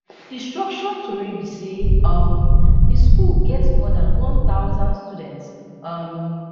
destruction tori be say um di school get more dan one thousand students um